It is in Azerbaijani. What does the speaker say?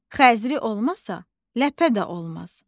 Xəzri olmasa, ləpə də olmaz.